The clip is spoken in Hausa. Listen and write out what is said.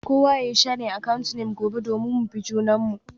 Kowa yayi sharing account name gobe domin mu bi junanmu.